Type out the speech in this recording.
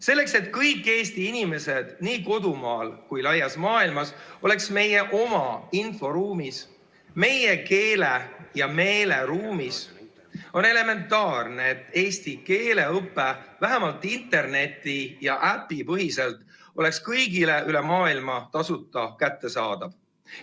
Selleks, et kõik Eesti inimesed nii kodumaal kui ka laias maailmas oleks meie oma inforuumis, meie keele‑ ja meeleruumis, on elementaarne, et eesti keele õpe vähemalt interneti‑ ja äpipõhiselt oleks kõigile üle maailma tasuta kättesaadav.